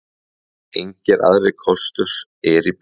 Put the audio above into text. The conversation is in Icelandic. Engir aðrir kostur eru í boði.